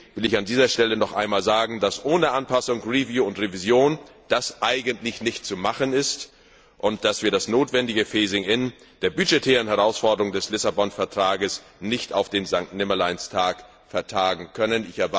Deswegen will ich an dieser Stelle noch einmal sagen, dass das ohne Anpassung, Überprüfung und Revision eigentlich nicht zu machen ist und wir das notwendige Phasing in der budgetären Herausforderungen des Lissabon Vertrags nicht auf den Sankt Nimmerleins Tag vertagen können.